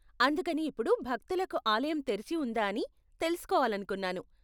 అందుకని ఇప్పుడు భక్తులకు ఆలయం తెరిచి ఉందా అని తెలుసుకోవాలనుకున్నాను.